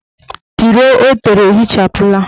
Tiro o tere ehichapụla.